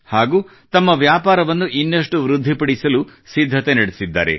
ಹಾಗೂ ತಮ್ಮ ವ್ಯಾಪಾರವನ್ನು ಇನ್ನಷ್ಟು ವೃದ್ಧಿಪಡಿಸಲು ಸಿದ್ಧತೆ ನಡೆಸಿದ್ದಾರೆ